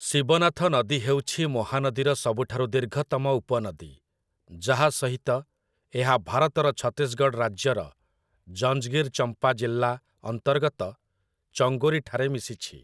ଶିବନାଥ ନଦୀ ହେଉଛି ମହାନଦୀର ସବୁଠାରୁ ଦୀର୍ଘତମ ଉପନଦୀ, ଯାହା ସହିତ ଏହା ଭାରତର ଛତିଶଗଡ଼ ରାଜ୍ୟର ଜଞ୍ଜଗିର-ଚମ୍ପା ଜିଲ୍ଲା ଅନ୍ତର୍ଗତ ଚଙ୍ଗୋରୀଠାରେ ମିଶିଛି ।